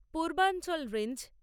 Purbanchal range